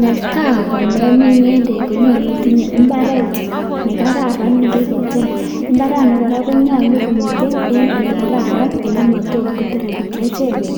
netai komemin ngendek ko nyalu itinye imbaret nekararan nekiketem. mbarani konyalu komitei olekararan ole matot kepchee beek